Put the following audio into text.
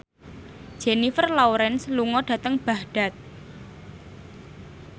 Jennifer Lawrence lunga dhateng Baghdad